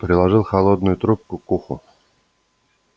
приложил холодную трубку к уху